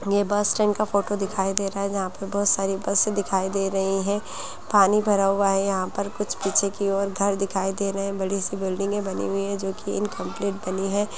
ये bus stand का photo दिखाई दे रहा है जहां पे बहुत सारी बसे दिखाई दे रही हैं पानी भरा हुआ है यहां पर कुछ पीछे की ओर घर दिखाई दे रहे हैं बड़ी-सी बिल्डिंगें बनी हुई हैं जो की इनकॉम्पलिट बनी हैं।